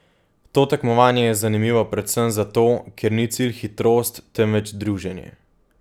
To tekmovanje je zanimivo predvsem zato, ker ni cilj hitrost, temveč druženje.